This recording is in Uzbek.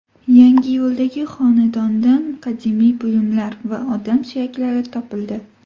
Yangiyo‘ldagi xonadondan qadimiy buyumlar va odam suyaklari topildi.